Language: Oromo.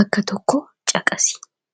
Bakka tokko caqasi!